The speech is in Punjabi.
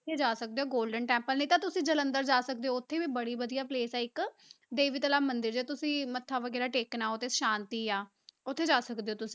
ਉੱਥੇ ਜਾ ਸਕਦੇ ਹੋ golden temple ਨਹੀਂ ਤਾਂ ਤੁਸੀਂ ਜਲੰਧਰ ਜਾ ਸਕਦੇ ਹੋ, ਉੱਥੇ ਵੀ ਬੜੀ ਵਧੀਆ place ਆ ਇੱਕ ਮੰਦਰ ਜੇ ਤੁਸੀਂ ਮੱਥਾ ਵਗ਼ੈਰਾ ਟੇਕਣਾ, ਉੱਧਰ ਸ਼ਾਂਤੀ ਆ ਉੱਥੇ ਜਾ ਸਕਦੇ ਹੋ ਤੁਸੀਂ